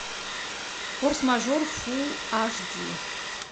форс мажор фул аш ди